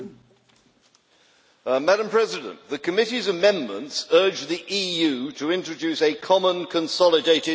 Madam President, the Committee's amendments urge the EU to introduce a common consolidated corporate tax base.